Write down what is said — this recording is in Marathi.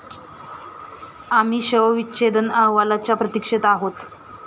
आम्ही शवविच्छेदन अहवालाच्या प्रतीक्षेत आहोत.